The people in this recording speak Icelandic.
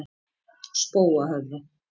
Spóahöfða